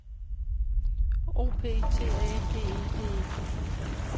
O P T A G E D E